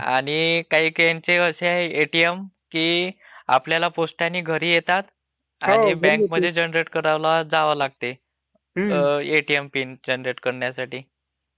आणि काही काहीचे असे एटीएम आहे की आपल्याला पोस्टाने घरी येतात आणि बैंकमधअये जनरेट करायला जावं लागते. एटीएम पिन जनरेट करण्यासाठी